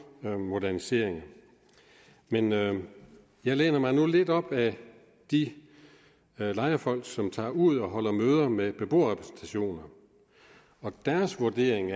moderniseringer men jeg jeg læner mig nu lidt op af de lejerfolk som tager ud og holder møder med beboerrepræsentationer og deres vurdering